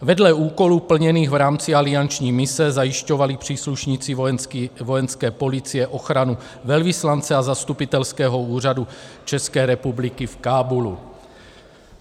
Vedle úkolů plněných v rámci alianční mise zajišťovali příslušníci Vojenské policie ochranu velvyslance a Zastupitelského úřadu České republiky v Kábulu.